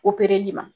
opereli ma